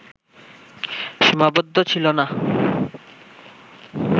সীমাবদ্ধ ছিল না